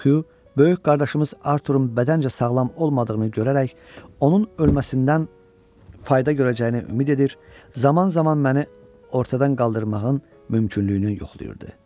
Xyu böyük qardaşımız Artururun bədəncə sağlam olmadığını görərək onun ölməsindən fayda görəcəyinə ümid edir, zaman-zaman məni ortadan qaldırmağın mümkünlüyünü yoxlayırdı.